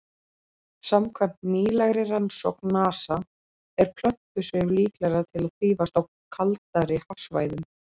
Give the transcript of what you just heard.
Samkvæmt nýlegri rannsókn NASA er plöntusvif líklegra til að þrífast á kaldari hafsvæðum.